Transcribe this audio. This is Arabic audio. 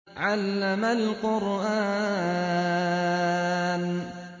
عَلَّمَ الْقُرْآنَ